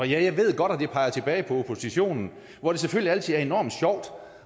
jeg ved godt at det peger tilbage på oppositionen hvor det selvfølgelig altid er enormt sjovt